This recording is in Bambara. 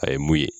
A ye mun ye